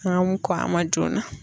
N'an mun kɔn a ma joona.